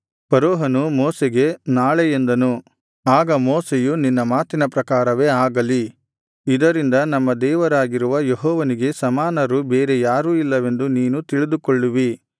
ಫರೋಹನು ಮೋಶೆಗೆ ನಾಳೆ ಎಂದನು ಆಗ ಮೋಶೆಯು ನಿನ್ನ ಮಾತಿನ ಪ್ರಕಾರವೇ ಆಗಲಿ ಇದರಿಂದ ನಮ್ಮ ದೇವರಾಗಿರುವ ಯೆಹೋವನಿಗೆ ಸಮಾನರು ಬೇರೆ ಯಾರೂ ಇಲ್ಲವೆಂದು ನೀನು ತಿಳಿದುಕೊಳ್ಳುವಿ